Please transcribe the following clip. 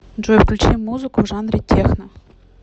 джой включи музыку в жанре техно